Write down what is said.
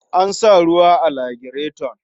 An sa ruwa a lagireton.